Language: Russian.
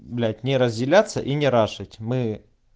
блять не разделяться и не рашить мы